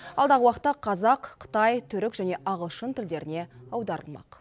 алдағы уақытта қазақ қытай түрік және ағылшын тілдеріне аударылмақ